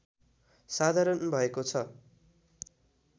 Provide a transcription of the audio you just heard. साधारण भएको छ